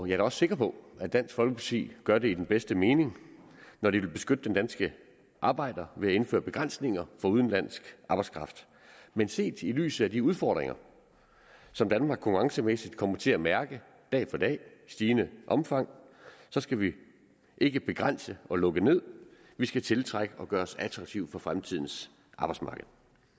jeg er sikker på at dansk folkeparti gør det i den bedste mening når de vil beskytte den danske arbejder ved at indføre begrænsninger for udenlandsk arbejdskraft men set i lyset af de udfordringer som danmark konkurrencemæssigt kommer til at mærke dag for dag i stigende omfang skal vi ikke begrænse og lukke ned vi skal tiltrække og gøre os attraktive på fremtidens arbejdsmarked